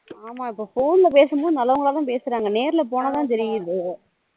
ஆமா இப்போ phone பேசும் போது நல்லவங்களா தான் பேசுறாங்க நேர்ல போனாதான் தெரிது